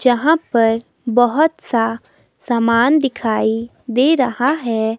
जहां पर बहोत सा सामान दिखाई दे रहा है।